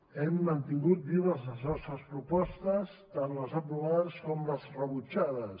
hem mantingut vives les nostres propostes tant les aprovades com les rebutjades